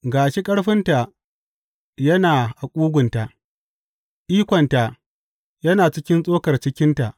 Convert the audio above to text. Ga shi ƙarfinta yana a ƙugunta ikonta yana cikin tsokar cikinta.